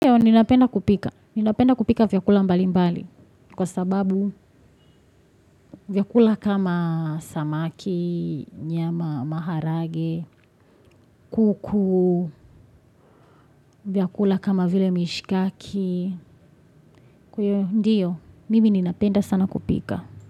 Ndio, ninapenda kupika. Ninapenda kupika vyakula mbali mbali kwa sababu vyakula kama samaki, nyama maharage, kuku, vyakula kama vile mishikaki. Ndio, mimi ninapenda sana kupika.